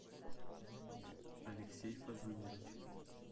алексей фазылович